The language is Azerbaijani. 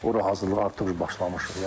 Ora hazırlığa artıq başlamışıq.